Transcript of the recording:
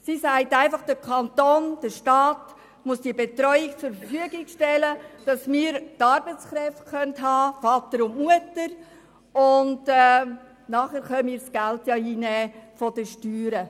Diese sagt, der Kanton, der Staat müsse die Betreuung zur Verfügung stellen, um genügend Arbeitskräfte, Väter und Mütter, zu finden, und der Kanton könne die Steuern einnehmen.